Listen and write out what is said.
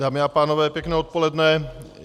Dámy a pánové, pěkné odpoledne.